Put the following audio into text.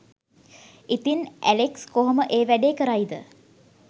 ඉතින් ඇලෙක්ස් කොහොම ඒ වැඩේ කරයිද